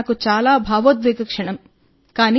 అది నాకు చాలా భావోద్వేగ క్షణం